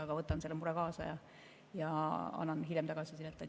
Aga võtan selle mure kaasa ja annan hiljem tagasisidet.